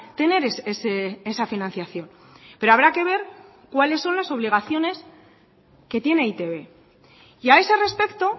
tener esa financiación pero habrá que ver cuáles son las obligaciones que tiene e i te be y a ese respecto